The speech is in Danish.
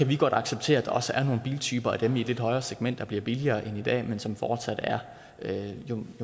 vi godt acceptere at der også er nogle biltyper i det lidt højere segment der bliver billigere end i dag men som fortsat er